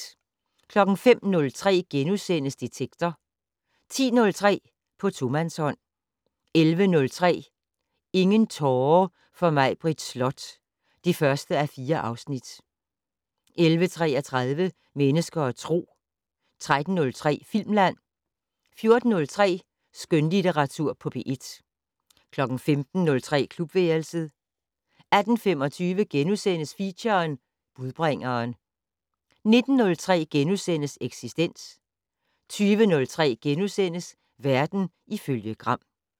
05:03: Detektor * 10:03: På tomandshånd 11:03: Ingen tårer for Maibritt Slot (1:4) 11:33: Mennesker og Tro 13:03: Filmland 14:03: Skønlitteratur på P1 15:03: Klubværelset 18:25: Feature: Budbringeren * 19:03: Eksistens * 20:03: Verden ifølge Gram *